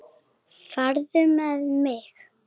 Farðu með mig.